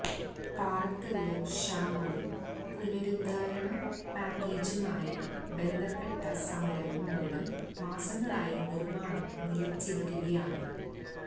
പാറക്കല്ല് ക്ഷാമവും പുനരുദ്ധാരണ പാക്കേജുമായി ബന്ധപ്പെട്ട സമരവും മൂലം മാസങ്ങളായി നിര്മാണം നിലച്ചിരിക്കുകയാണ്